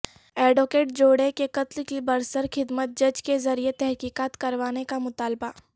advocate جوڑے کے قتل کی برسرخدمت جج کے ذریعہ تحقیقات کروانے کا مطالبہ